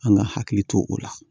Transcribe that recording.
An ka hakili to o la